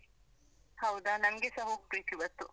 ಹೌದಾ ನಂಗೆಸ ಹೋಗ್ಬೇಕಿವತ್ತು.